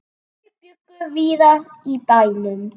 Þau bjuggu víða í bænum.